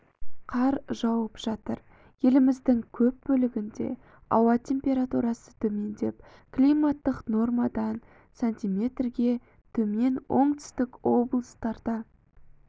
қар жауып жатыр еліміздің көп бөлігінде ауа температурасы төмендеп климаттық нормадан с-ге төмен оңтүстік облыстарда